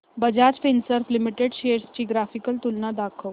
Bajaj Finserv limited shares ची graphical तुलना दाखव